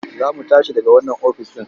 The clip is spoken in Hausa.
Za mu tashi daga wannan ofis ɗin.